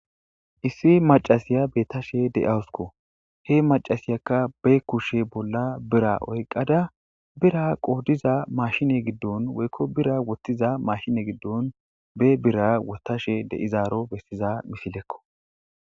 issi macasiya bettashe de7awusko he macasiyakka be kushe bolla bira oyqqada bira qohodiza mashine giddon woykko bira wottiza mashine giddon be bira wottashe deizaaro bessiza mifilekko